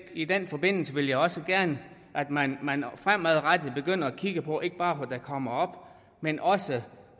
i den forbindelse vil jeg også gerne at man fremadrettet begynder at kigge på ikke bare hvad der kommer op men også